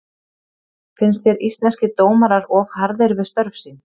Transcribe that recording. Finnst þér Íslenskir dómarar of harðir við störf sín?